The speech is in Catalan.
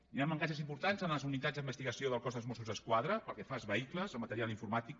hi han mancances importants en les unitats d’investigació del cos de mossos d’esquadra pel que fa als vehicles al material informàtic